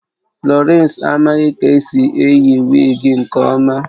Florence amaghị ka esi eyi wigi nke ọma